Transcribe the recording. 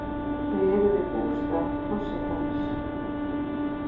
Þau eru við bústað forsetans.